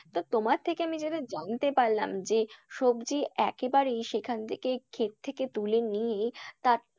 তো তোমার থেকে আমি যেটা জানতে পারলাম যে সবজি একেবারেই সেখান থেকে খেত থেকে তুলে নিয়ে তা,